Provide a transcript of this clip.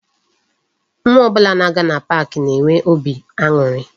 Nwa ọbụla ga-aga na pak na-enwe óbị aṅụrị